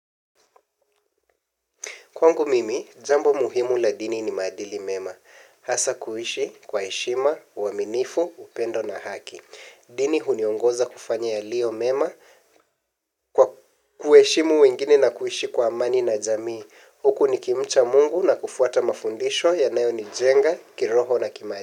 Kwangu mimi jambo muhimu la dini ni maadili mema. Hasa kuishi kwa heshima uaminifu upendo na haki. Dini huniongoza kufanya yaliyo mema kwa kuheshimu wengine na kuishi kwa amani na jamii. Huku nikimcha mungu na kufuata mafundisho yanayo nijenga kiroho na kimaadili.